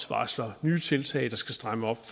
varsler nye tiltag der skal stramme op